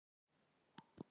En hún var ein.